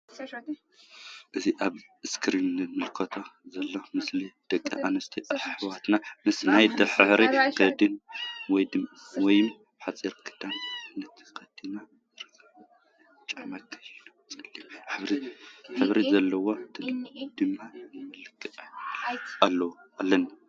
እዚ አብ እስክሪን እንምልከቶ ዘለና ምስሊ ደቂ አንስትዮ አሕዋትና ምስ ናይ ድራር ክዳን ወይም ሓፂር ክዳን እንትክደና ዝገብርኦ ጫማ ኮይኑ ፀሊም ሕብሪ ዝለዎ ድማ ንምልከት አለና::